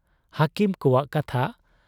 ᱦᱟᱹᱠᱤᱢ ᱠᱚᱣᱟᱜ ᱠᱟᱛᱷᱟ ᱾